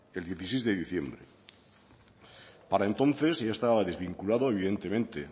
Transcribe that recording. el dieciséis de diciembre para entonces ya estaba desvinculado evidentemente